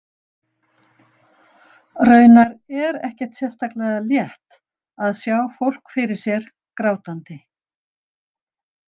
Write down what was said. Raunar er ekkert sérstaklega létt að sjá fólk fyrir sér grátandi.